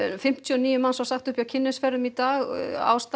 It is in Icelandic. fimmtíu og níu var sagt upp hjá Kynnisferðum í dag aðalástæðan